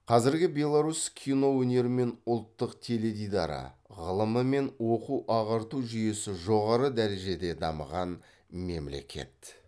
қазіргі беларусь кино өнері мен ұлттық теледидары ғылымы мен оқу ағарту жүйесі жоғары дәрежеде дамыған мемлекет